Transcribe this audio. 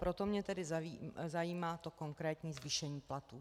Proto mě tedy zajímá to konkrétní zvýšení platů.